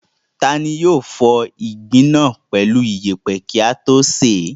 Ta ni yóò fọ ìgbín náà pẹ̀lú ìyẹ̀pẹ̀ kí á tó sè é?